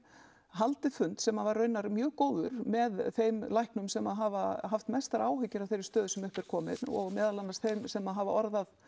haldið fund sem var raunar mjög góður með þeim læknum sem hafa haft mestar áhyggjur af þeirri stöðu sem upp er komin og meðal annars þeim sem hafa orðað